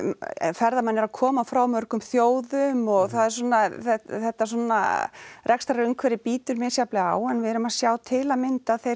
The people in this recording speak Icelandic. ferðamenn eru að koma frá mörgum þjóðum og það er svona þetta svona rekstrarumhverfi bítur misjafnlega á en við erum að sjá til að mynda þeir